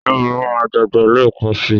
Irun mi máa dàgbà lẹ́ẹ̀kan síi.